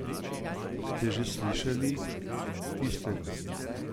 Ste že slišali tistega?